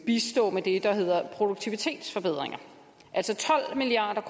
bistå det der hedder produktivitetsforbedringer altså tolv milliard